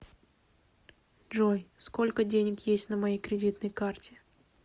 джой сколько денег есть на моей кредитной карте